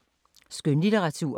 Skønlitteratur